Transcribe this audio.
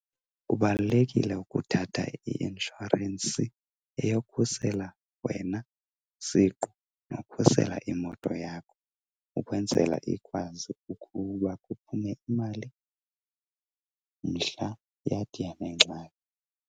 Kubalulekile ukuthatha i-inshorensi eyokhusela wena siqu nokhusela imoto yakho ukwenzela ikwazi ukuba kuphume imali mhla yathi yanengxaki.